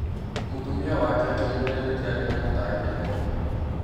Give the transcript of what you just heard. Mũtumia wake akĩmũria nĩkĩ arĩ na mũtangĩko.